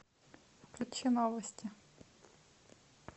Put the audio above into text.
включи новости